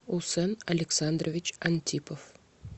усен александрович антипов